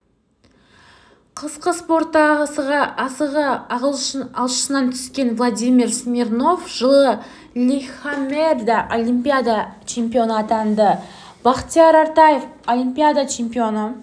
қысқы спортта асығы алшысынан түскен владимир смирнов жылы лилихаммерде олимпиада чемпионы атанды бақтияр артаев олимпиада чемпионы